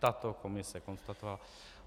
Tato komise konstatovala.